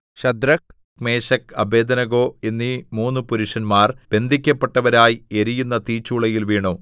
Shadrak Meshach Abednego എന്നീ മൂന്നു പുരുഷന്മാർ ബന്ധിക്കപ്പെട്ടവരായി എരിയുന്ന തീച്ചൂളയിൽ വീണു